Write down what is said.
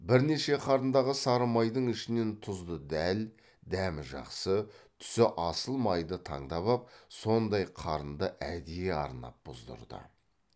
бірнеше қарындағы сары майдың ішінен тұзды дәл дәмі жақсы түсі асыл майды таңдап ап сондай қарынды әдейі арнап бұздырды